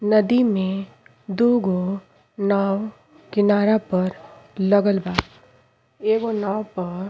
नदी में दुगो नाव किनारा पर लागल बा। एगो नाव प --